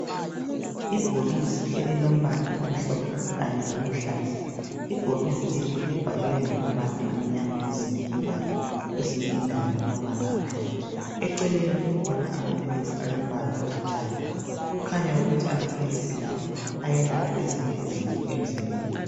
Ibhokisi elilombala omhlophe kanye loluhlaza ibhokisi libhaliwe ngamabala amnyama kwezinye indawo. Kwezinye indawo ngamabala amhlophe eceleni kukhona amaphilisi alombala olithanga okukhanya ukuthi amaphilisi lawa ayelapha ezinye izifo emzimbeni